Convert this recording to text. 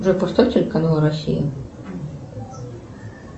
джой поставь телеканал россия